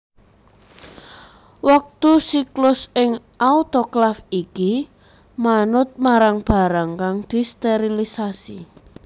Wektu siklus ing autoklaf iki manut marang barang kang disterilisasi